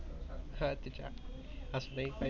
हट तिच्या अस लई पाहिजे